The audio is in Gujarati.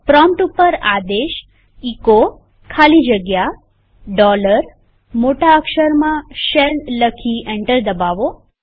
પ્રોમ્પ્ટ ઉપર આદેશ એચો ખાલી જગ્યા મોટા અક્ષરમાં શેલ લખી એન્ટર દબાવો